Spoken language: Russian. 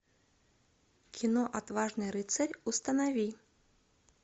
кино отважный рыцарь установи